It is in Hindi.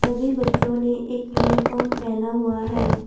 सभी बच्चों ने एक यूनिफार्म पहना हुआ है।